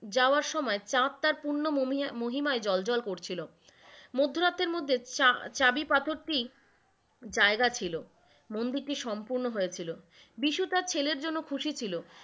জাওয়ার সময় চাঁদ তার পূর্ণ মহিমায় জ্বলজ্বল করছিল। মধ্যরাতের মধ্যে চা~ চাবি পাথরটি জায়গা ছিল, মন্দিরটি সম্পূর্ণ হয়েছিল, বিষু তার ছেলের জন্য খুশি ছিল,